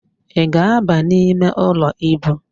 Ị ga-ábà imeụlọ íbù?